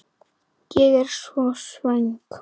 Ég er svo svöng.